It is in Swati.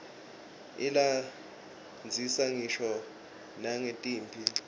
ilandzisa ngisho nangetimphi